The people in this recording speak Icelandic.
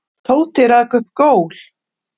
Tóti rak upp gól.